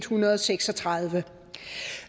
hundrede og seks og tredive